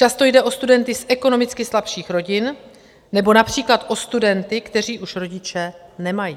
Často jde o studenty z ekonomicky slabších rodin nebo například o studenty, kteří už rodiče nemají.